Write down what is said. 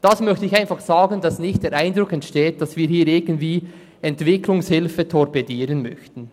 Das möchte ich einfach sagen, damit nicht der Eindruck entsteht, dass wir hier Entwicklungshilfe torpedieren möchten.